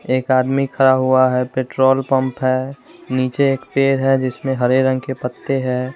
एक आदमी खड़ा हुआ हैं पेट्रोल पंप हैं नीचे एक पेड़ है जिसमें हरे रंग के पत्ते हैं।